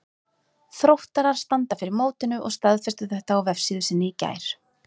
Þróttarar standa fyrir mótinu og staðfestu þetta á vefsíðu sinni í gær.